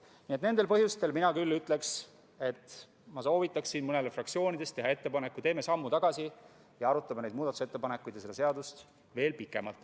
Nii et nendel põhjustel mina küll soovitaksin mõnel fraktsioonil teha ettepaneku: teeme sammu tagasi ning arutame neid muudatusettepanekuid ja seda seadust veel pikemalt.